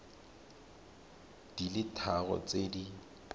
di le tharo tse di